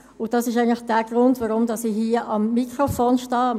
Dies ist eigentlich der Grund, weshalb ich hier am Mikrofon stehe.